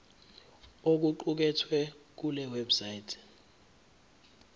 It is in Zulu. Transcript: okuqukethwe kule website